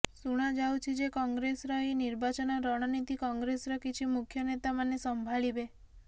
ଶୁଣାଯାଉଛି ଯେ କଂଗ୍ରେସର ଏହି ନିର୍ବାଚନ ରଣନୀତି କଂଗ୍ରେସର କିଛି ମୁଖ୍ୟ ନେତାମାନେ ସମ୍ଭାଳିବେ